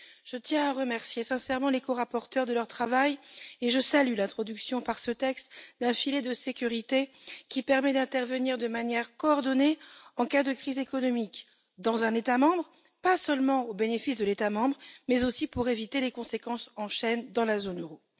Je tiens à remercier sincèrement les corapporteurs de leur travail et je salue l'introduction par ce texte d'un filet de sécurité qui permet d'intervenir de manière coordonnée en cas de crise économique dans un État membre, non seulement au bénéfice de cet État membre, mais aussi comme moyen d'éviter les réactions en chaîne dans la zone euro.